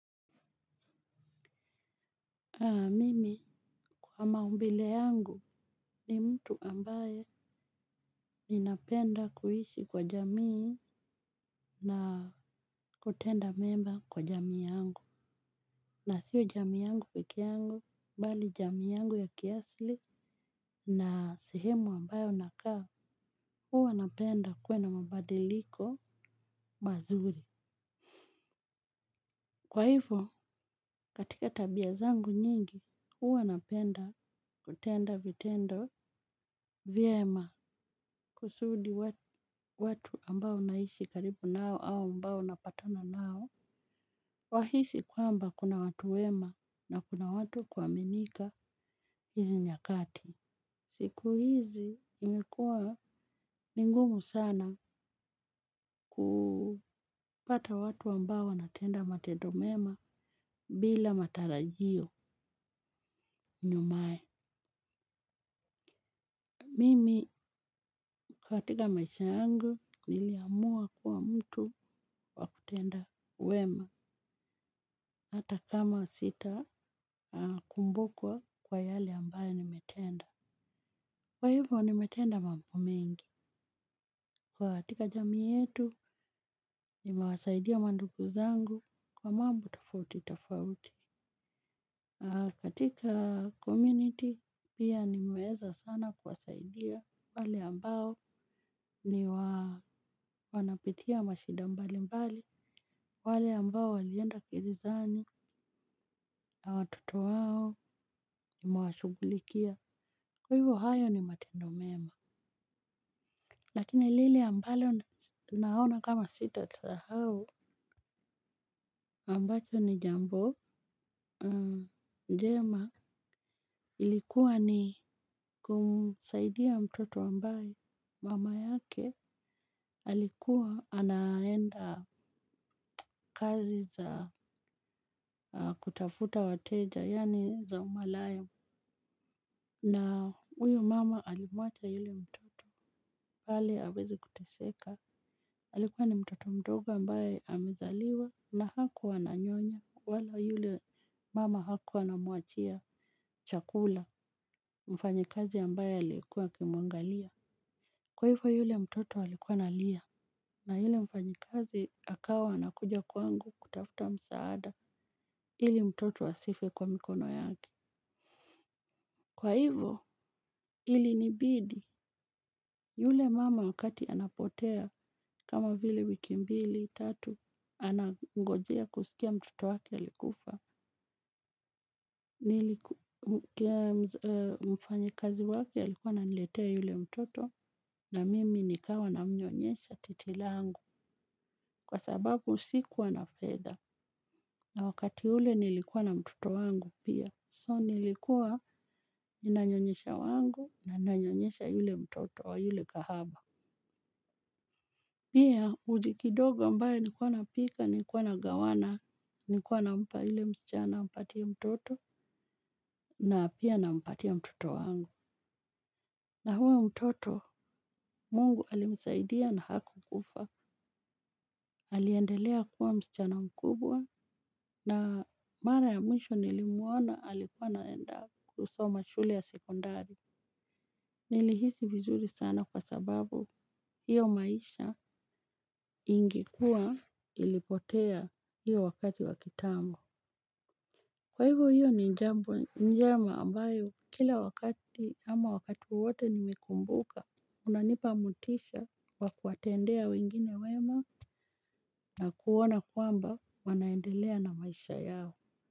Mimi kwa maumbile yangu ni mtu ambaye ninapenda kuishi kwa jamii na kutenda mema kwa jamii yangu. Na sio jamii yangu pikee yangu, bali jamii yangu ya kiasili na sehemu ambayo nakaa, huwa napenda kuwe na mabadiliko mazuri. Kwa hivo, katika tabia zangu nyingi, huwa napenda kutenda vitendo vyema kusudi watu ambao naishi karibu nao au ambao napatana nao. Wahisi kwamba kuna watu wema na kuna watu kuaminika hizi nyakati. Siku hizi imekua ni ngumu sana kupata watu ambao wanatenda matendo mema bila matarajio nyumae. Mimi katika maisha yangu niliamua kuwa mtu wa kutenda wema hata kama sitakumbukwa kwa yale ambayo nimetenda. Kwa hivyo nimetenda mambo mengi. Katika jamii yetu nimewasaidia mandugu zangu kwa mambo tofauti tofauti. Katika community pia nimeweza sana kuwasaidia wale ambao ni wanapitia mashida mbali mbali. Wale ambao walienda gerezani na watoto wao nimewashugulikia. Kwa hivyo hayo ni matendo mema. Lakini lile ambalo naona kama sita sahau ambacho ni jambo njema. Ilikuwa ni kumusaidia mtoto ambayo mama yake alikuwa anaenda kazi za kutafuta wateja, yaani za umalaya. Na huyu mama alimwacha yule mtoto hali aweze kuteseka. Alikuwa ni mtoto mtoto ambaye amezaliwa na hakuwa ananyonya. Wala yule mama hakuwa anamwachia chakula mfanyikazi ambaye alikuwa akimwangalia. Kwa hivo yule mtoto alikuwa analia. Na yule mfanyikazi akawa anakuja kwangu kutafuta msaada ili mtoto asife kwa mikono yake. Kwa hivo, ilinibidi yule mama wakati anapotea kama vile wiki mbili, tatu, anangojea kusikia mtoto waki alikufa. Mfanyikazi wake alikuwa ananiletea yule mtoto na mimi nikawa namnyonyesha titi langu kwa sababu sikuwa na fedha. Na wakati ule nilikuwa na mtoto wangu pia, so nilikuwa ninanyonyesha wangu na ninanyonyesha yule mtoto wa yule kahaba. Pia uji kidogo ambaye nikuwa napika, nikuwa nagawana, nikuwa nampa yule msichana ampatie mtoto na pia nampatia mtoto wangu. Na huyu mtoto, mungu alimsaidia na hakukufa, aliendelea kuwa msichana mkubwa, na mara ya mwisho nilimuona alikuwa naenda kusoma shule ya sekondari. Nilihisi vizuri sana kwa sababu hiyo maisha ingekuwa ilipotea hiyo wakati wa kitambo. Kwa hivyo hiyo ni jambo njema ambayo kila wakati ama wakati wote nimekumbuka hunanipa motisha wa kuwatendea wengine wema na kuona kwamba wanaendelea na maisha yao.